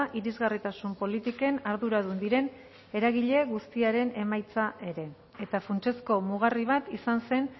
irisgarritasun politiken arduradun diren eragile guztiaren emaitza ere eta funtsezko mugarri bat izan zen